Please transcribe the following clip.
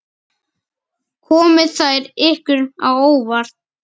Komu þær ykkur á óvart?